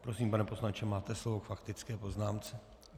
Prosím, pane poslanče, máte slovo k faktické poznámce.